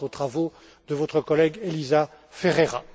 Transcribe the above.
Je pense aux travaux de votre collègue Elisa Ferreira.